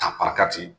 A